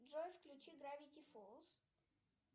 джой включи гравити фоллс